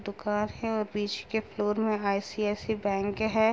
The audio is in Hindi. दुकान है और बीच के फ्लोर में आई.सी.आई.सी.आई. बैंक है।